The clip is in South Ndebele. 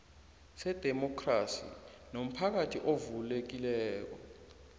sedemokhrasi nomphakathi ovulekileko